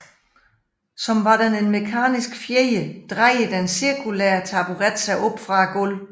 Som var den en mekanisk fjeder drejer den cirkulære taburet sig op fra gulvet